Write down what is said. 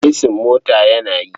Esin motar yana yi.